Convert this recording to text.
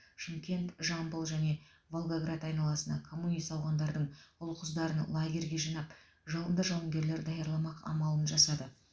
шымкент жамбыл және волгоград айналасына коммунист ауғандардың ұл қыздарын лагерьге жинап жалынды жауынгерлер даярламақ амалын жасады